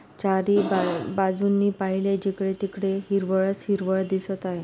चारी बा-बाजूंनी पहिले जिकडे तिकडे हिरवळ च हिरवळ दिसत आहे.